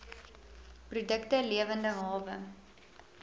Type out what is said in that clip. produkte lewende hawe